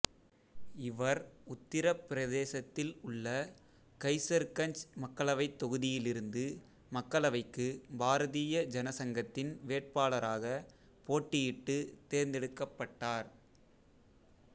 இவர் உத்தரப் பிரதேசத்தில் உள்ள கைசர்கஞ்ச் மக்களவைத் தொகுதியிலிருந்து மக்களவைக்கு பாரதீய ஜனசங்கத்தின் வேட்பாளராகப் போட்டியிட்டுத் தேர்ந்தெடுக்கப்பட்டார்